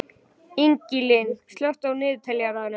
Ingilín, slökktu á niðurteljaranum.